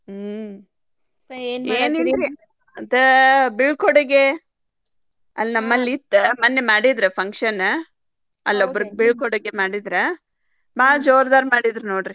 ಹ್ಮ್‌ ಆದ್ ಬಿಳ್ಕೊಡುಗೆ ಅಲ್ಲಿ ನಮ್ಮಲ್ಲಿ ಇತ್ತ ಮನ್ನೇ ಮಾಡಿದ್ರ್ function ಅಲ್ಲೊಬ್ಬರ್ ಬಿಳ್ಕೊಡುಗೆ ಮಾಡಿದ್ರ ಬಾಳ ಜೋರ್ದಾರ್ ಮಾಡಿದ್ರ್ ನೋಡ್ರಿ.